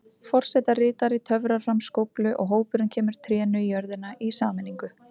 Forsetaritari töfrar fram skóflu og hópurinn kemur trénu í jörðina í sameiningu.